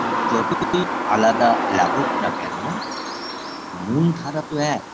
যতই আলাদা লাগুক না কেন মূলধারা তো এক